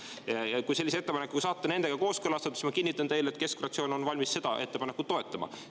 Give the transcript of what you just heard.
Ma kinnitan teile, et kui te saate sellise ettepaneku kooskõlastatud, siis keskfraktsioon on valmis seda ettepanekut toetama.